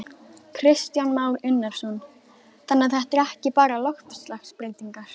Kristján Már Unnarsson: Þannig að þetta er ekki bara loftslagsbreytingar?